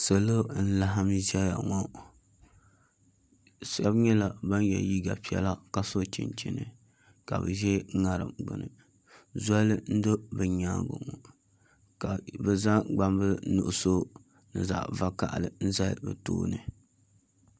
Salo n laɣam ʒɛya ŋɔ shab nyɛla ban yɛ liiga piɛla ka so chinchini ka bi ʒɛ ŋarim gbuni zoli n do bi nyaangi ŋɔ ka bi zaŋ gbambili nuɣso ni zaɣ vakaɣali n zali bi tooni